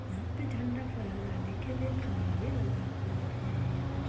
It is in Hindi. यहां पे झंडा फहराने के लिए खंभा भी लगा हुआ है यह दृश्य --